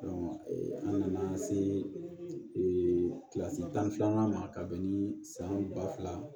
an nana se kilasi tan ni filanan ma ka bɛn ni san ba fila ye